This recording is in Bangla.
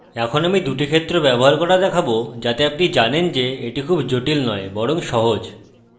এখন আমি ২টি ক্ষেত্র ব্যবহার করা দেখাবো যাতে আপনি জানেন যে এটি খুব জটিল নয় বরং সহজ